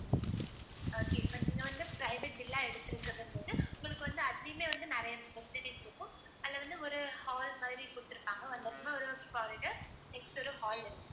okay இப்ப நீங்க வந்து private villa எடுத்துருக்கிறது வந்து உங்களுக்கு வந்து அதுலயுமே வந்து நிறைய facilities இருக்கும். அதுல வந்து ஒரு hall மாதிரி கொடுத்திருப்பாங்க next வந்து ஒரு hall இருக்கும்